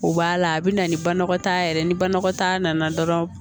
U b'a la a bɛ na ni banakɔtaa yɛrɛ ye ni banakɔtaa nana dɔrɔn